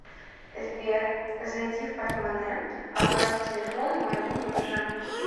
сбер зайди в портмоне оплати телефон моего мужа